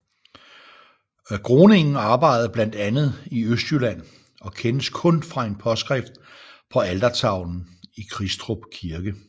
Groningen arbejdede blandt andet i Østjylland og kendes kun fra en påskrift på altertavlen i Kristrup Kirke